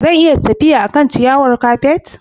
Zan iya tafiya a kan ciyawar kafet?